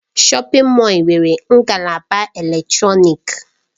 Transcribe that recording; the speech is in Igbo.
Shọpin Mọll nwere ngalaba eletrọnịkị.